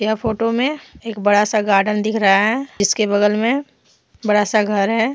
यह फोटो में एक बड़ा सा गार्डन दिख रहा है जिसके बगल में बड़ा सा घर है।